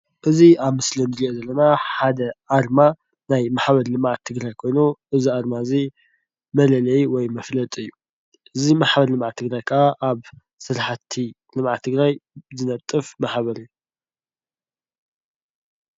እዚ ኣብ ምስሊ እንሪኦ ዘለና ሓደ ኣርማ ናይ ማሕበር ልምዓት ትግራይ ኮይኑ እዚ ኣርማ እዚ መለለዪ ወይ መፍለጢ እዩ። እዚ ማሕበር ልምዓት ትግራይ ካዓ ኣብ ስራሕቲ ልምዓት ትግራይ ዝነጥፍ ማሕበር እዩ።